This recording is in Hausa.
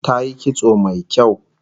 Tayi kitso mai kyau